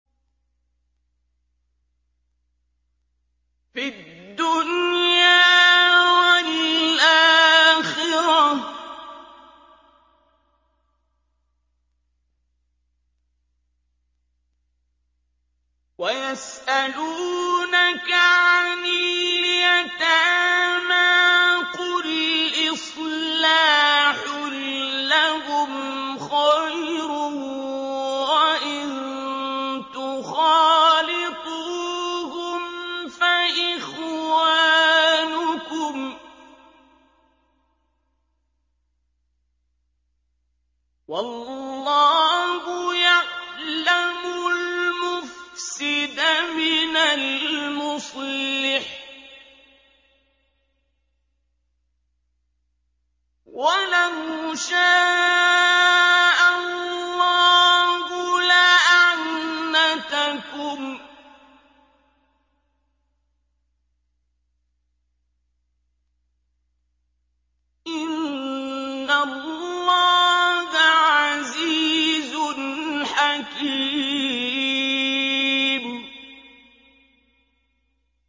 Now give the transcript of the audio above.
فِي الدُّنْيَا وَالْآخِرَةِ ۗ وَيَسْأَلُونَكَ عَنِ الْيَتَامَىٰ ۖ قُلْ إِصْلَاحٌ لَّهُمْ خَيْرٌ ۖ وَإِن تُخَالِطُوهُمْ فَإِخْوَانُكُمْ ۚ وَاللَّهُ يَعْلَمُ الْمُفْسِدَ مِنَ الْمُصْلِحِ ۚ وَلَوْ شَاءَ اللَّهُ لَأَعْنَتَكُمْ ۚ إِنَّ اللَّهَ عَزِيزٌ حَكِيمٌ